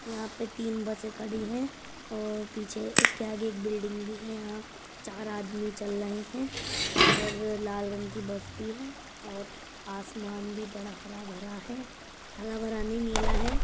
यहाँ पर तीन बसे खड़ी है और पीछे उसके आगे एक बिल्डिंग भी है। यहाँ आदमी चल रहे है और लाल रंग की बस भी है और आसमान भी बड़ा भरा है हरा भरा नहीं नीला है।